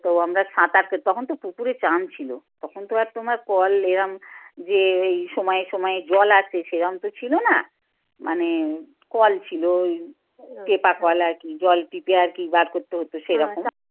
তো আমরা পেতাম তখন তো পুকুরে চান ছিল। তখন তো আর তোমার কল এরম যে এই সময়ে সময়ে জল আসে সেরম তো ছিল না মানে কল ছিল ওই টেপা কল আর কি জল টিপে আর কি বার করতে হতো সেরকম